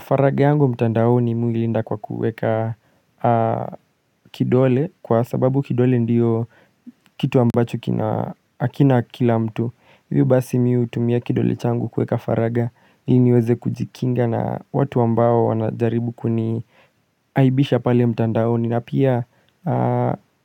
Faraga yangu mtandaoni mimi huilinda kwa kuweka kidole kwa sababu kidole ndiyo kitu ambacho kina akina kila mtu Hivyo basi mim hutumia kidole changu kuweka faraga ili niweze kujikinga na watu ambao wanajaribu kuniaibisha pale mtandaoni na pia